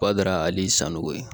Bada hali sango ye